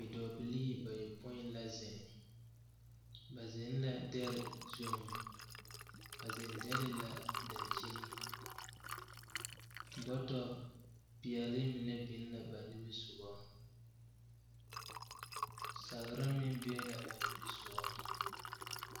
Bibilii bayopõi la zeŋ. Ba zeŋ la dɛre zuŋ. Ba zeŋ dɛle la daŋkyini. Bɔtɔ peɛle mine biŋ la ba nimisoga, sagere meŋ be la ba nimisogaŋ.